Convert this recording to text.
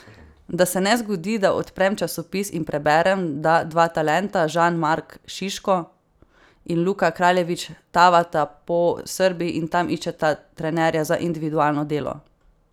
Da se ne zgodi, da odprem časopis in preberem, da dva talenta Žan Mark Šiško in Luka Kraljević tavata po Srbiji in tam iščeta trenerja za individualno delo.